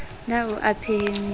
na o a e phehisa